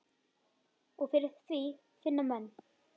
Og fyrir því finna menn.